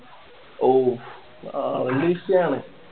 ഓഹ് valentin ആണ്